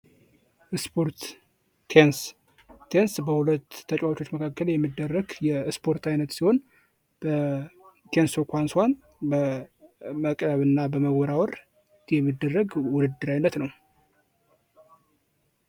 ስፖርት ቴኒስ በሁለት ሰዎች መካከል የሚደረግ የስፖርት አይነት ሲሆን የቴንስ ኳሱን በመቀበል እና በመወርወር የሚደረግ የውድድር ዓይነት ነው።